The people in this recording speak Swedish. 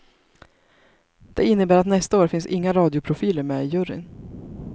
Det innebär att nästa år finns inga radioprofiler med i juryn.